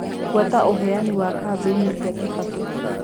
fuata uheani wa kambiini cĩa kibaki